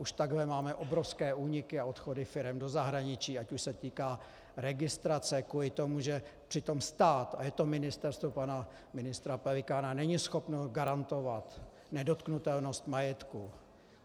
Už takhle máme obrovské úniky a odchody firem do zahraničí, ať už se týká registrace kvůli tomu, že přitom stát, a je to ministerstvo pana ministra Pelikána - není schopno garantovat nedotknutelnost majetku.